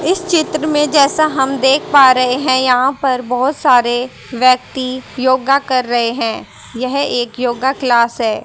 इस चित्र में जैसा हम देख पा रहे हैं यहां पर बहोत सारे व्यक्ति योगा कर रहे हैं यह एक योगा क्लास है।